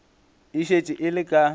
e šetše e le ka